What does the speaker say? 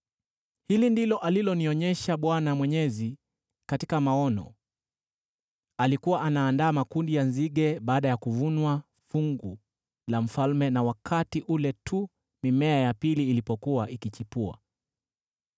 Hili ndilo alilonionyesha Bwana Mwenyezi katika maono: Alikuwa anaandaa makundi ya nzige baada ya kuvunwa fungu la mfalme na wakati ule tu mimea ya pili ilipokuwa ikichipua.